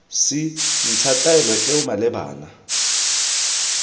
c ntsha taelo eo malebana